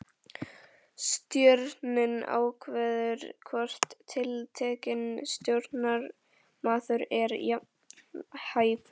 Stjórnin ákveður hvort tiltekinn stjórnarmaður er vanhæfur.